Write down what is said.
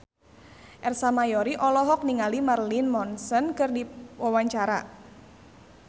Ersa Mayori olohok ningali Marilyn Manson keur diwawancara